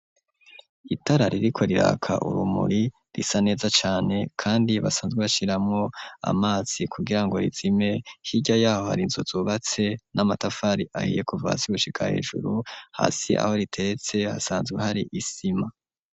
Itara ririko riraka urumuri risa neza cane kandi basanzwe bashiramwo amazi kugirango rizime hirya yaho hari inzu zubatse n'amatafari ahiye kuva hasi gushika hejuru hasi yaho riteretse hasanzwe hari isima.